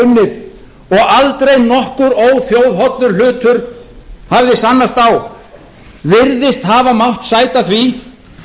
unnið og aldrei nokkur óþjóðhollur hlutur hafði sannast á virðist hafa mátt sæta því